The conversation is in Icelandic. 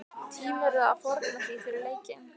Tímirðu að fórna því fyrir leikinn?